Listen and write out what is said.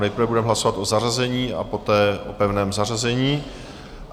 Nejprve budeme hlasovat o zařazení a poté o pevném zařazení.